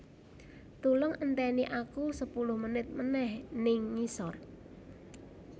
Tulung enteni aku sepuluh menit meneh ning ngisor